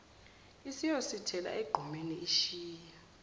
isiyosithela egqumeni ishiya